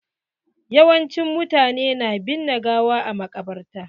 Yawancin mutane na binne gawa a maƙabarta.